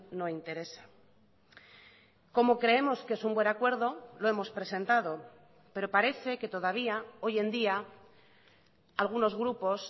no interesa como creemos que es un buen acuerdo lo hemos presentado pero parece que todavía hoy en día algunos grupos